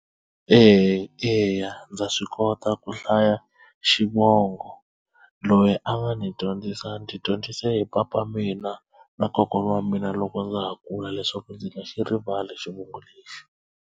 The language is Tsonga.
Eya eya ndza swi kota ku hlaya xivongo loyi a nga ni dyondzisa ndzi dyondzise hi papa mina na kokwana wa mina loko ndza ha kula leswaku ndzi nga xi rivali xivongo lexi.